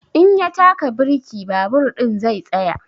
In ya taka birki babur ɗin zai tsaya.